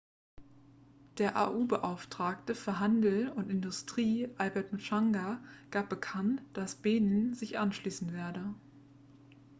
der au-beauftragte für handel und industrie albert muchanga gab bekannt dass benin sich anschließen werde